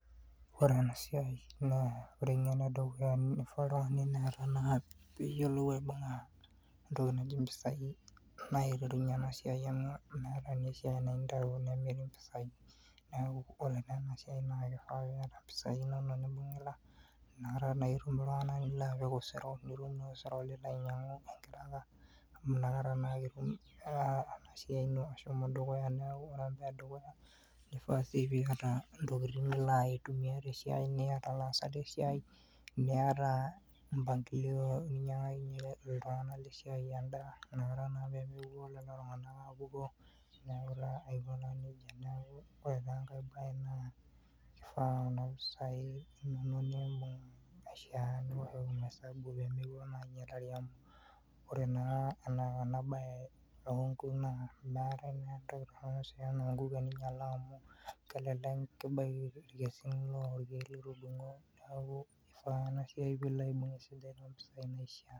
Ore ena siai naa ore enkano edukuya nifaa oltungani peeta naa piyielou aibunga intokitin nijo impisai naa aiterunyie ena siai amu metai naa esiai ninteru nemetii impisai. Neeku ore naa ena siai naa kifaa piyata impisai inono nibungita nakata naa itum iltunganak lipik osero nitum naa osero nilo naa ainyiangu, amu nakata naake etum ena siai ino ashomo dukuya. Neeku ore ene dukuya kifaa piyata intokitin nilo ayitu niata ilaasak lesiai niata mbangilio ninyiankakinyie iltunganak lesiai endaa nakata naa peemepuo lelo tunganak aapukoo, neeku naa aiko naa nejia. Ore naa enkae baa naa kuna pisai inono niibung niwoshoki esabu pimilo naa ainyialari, amu ore naa enasiai oonkuk meetai naa entoki torono teninyiala amu telekek inyiala ilduo keek litudunku.